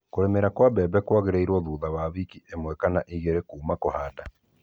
kũrĩmĩra kwa mbere kwagĩrĩirwo thutha wa wiki 1-2 kuuma kũhanda.